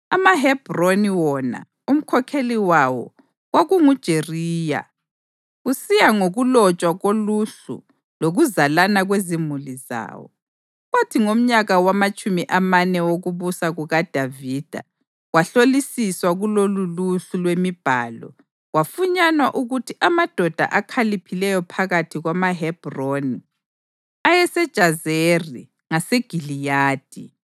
AmaHebhroni wona, umkhokheli wawo kwakunguJeriya kusiya ngokulotshwa koluhlu lokuzalana kwezimuli zawo. Kwathi ngomnyaka wamatshumi amane wokubusa kukaDavida kwahlolisiswa kuloluluhlu lwemibhalo, kwafunyanwa ukuthi amadoda akhaliphileyo phakathi kwamaHebhroni ayeseJazeri ngaseGiliyadi.